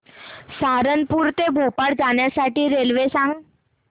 सहारनपुर ते भोपाळ जाण्यासाठी रेल्वे सांग